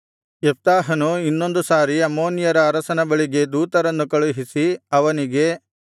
ಯೆಪ್ತಾಹನು ಇನ್ನೊಂದು ಸಾರಿ ಅಮ್ಮೋನಿಯರ ಅರಸನ ಬಳಿಗೆ ದೂತರನ್ನು ಕಳುಹಿಸಿ ಅವನಿಗೆ